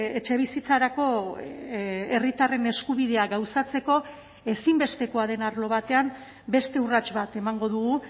etxebizitzarako herritarren eskubidea gauzatzeko ezinbestekoa den arlo batean beste urrats bat emango dugu